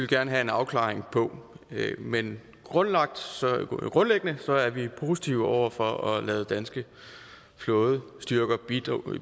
gerne have en afklaring på men grundlæggende er vi positive over for at lade danske flådestyrker bistå